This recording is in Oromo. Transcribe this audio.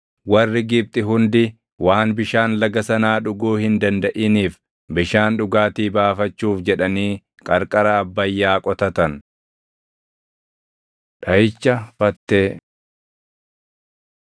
Warri Gibxi hundi waan bishaan laga sanaa dhuguu hin dandaʼiniif bishaan dhugaatii baafachuuf jedhanii qarqara Abbayyaa qotatan. Dhaʼicha Fattee